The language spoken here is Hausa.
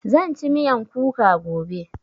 Zan ci miyan kuka gobe